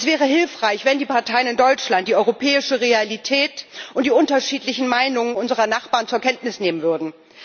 Es wäre hilfreich, wenn die Parteien in Deutschland die europäische Realität und die unterschiedlichen Meinungen unserer Nachbarn zur Kenntnis nehmen würden.